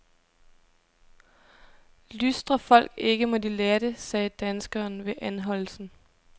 Lystrer folk ikke, må de lære det, sagde danskeren ved anholdelsen.